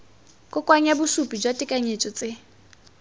kokoanya bosupi jwa tekanyetso tse